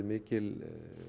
mikil